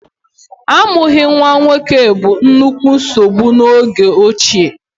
Amụghị nwa nwoke bụ nnukwu nsogbu n'oge ochie.